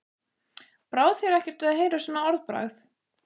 Brá þér ekkert við að heyra svona orðbragð?